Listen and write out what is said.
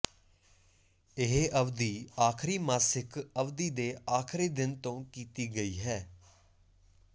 ਇਹ ਅਵਧੀ ਆਖਰੀ ਮਾਸਿਕ ਅਵਧੀ ਦੇ ਆਖਰੀ ਦਿਨ ਤੋਂ ਕੀਤੀ ਗਈ ਹੈ